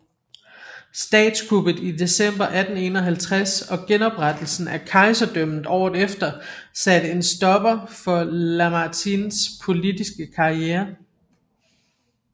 Statskuppet i december 1851 og genoprettelsen af kejserdømmet året efter satte en stopper for Lamartines politiske karriere